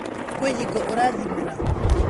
Kwĩ hingo ũraathimora?